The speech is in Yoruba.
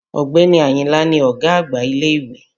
Ọ̀gbẹ́ni Àyìnlá ni ọ̀gá àgbà ilé-ìwé